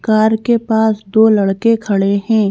Car के पास दो लड़के खड़े हैं।